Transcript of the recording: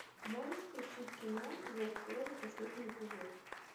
можешь включить кино зов крови последний эпизод